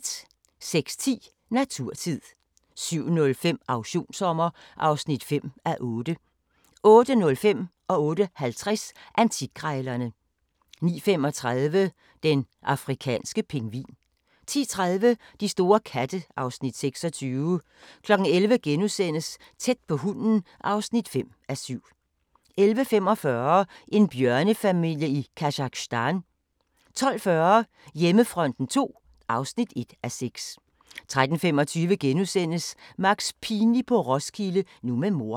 06:10: Naturtid 07:05: Auktionssommer (5:8) 08:05: Antikkrejlerne 08:50: Antikkrejlerne 09:35: Den afrikanske pingvin 10:30: De store katte (Afs. 26) 11:00: Tæt på hunden (5:7)* 11:45: En bjørnefamilie i Kazakhstan 12:40: Hjemmefronten II (1:6) 13:25: Max Pinlig på Roskilde, nu med mor *